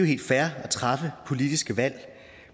helt fair at træffe politiske valg